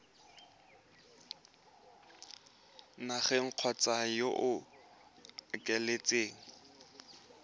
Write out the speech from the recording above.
nageng kgotsa yo o ikaeletseng